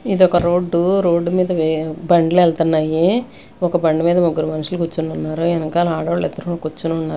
ఇదొక road road మీద వే-- బండ్లు వెళ్తున్నాయి ఒక బండి మీద ముగ్గురు మనుషులు కూర్చొని ఉన్నారు ఎనకాల ఆడోళ్ళ ఇద్దరు కూర్చొని ఉన్నారు.